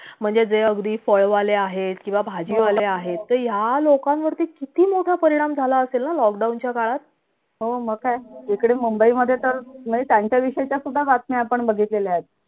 म्हणजे जे अगदी फळ वाले आहेत किंवा भाजी वाले आहेत ते या लोकांवरती किती मोठा परिणाम झाला असेल ना lockdown च्या काळात इकडे mumbai मधे तर त्याच्या विषयच्या सुद्धा आपण बघितलेल्या आहेत